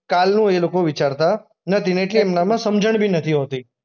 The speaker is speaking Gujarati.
કાલનું એ લોકો વિચારતા નથી ને એમનામાં સમજણ બી નથી હોતી.